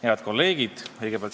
Head kolleegid!